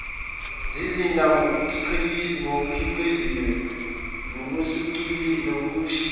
zizinda ngokukhiqiziwe nokushicilelwe